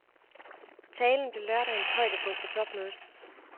Talen blev lørdagens højdepunkt på topmødet.